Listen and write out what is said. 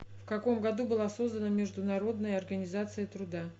в каком году была создана международная организация труда